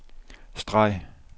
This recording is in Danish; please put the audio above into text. streg